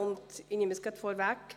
Ich nehme es gleich vorweg: